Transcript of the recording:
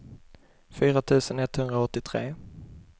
fyra tusen etthundraåttiotre